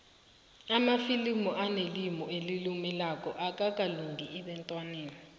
amafilimu anelimu elilumelako akalungeli abentwana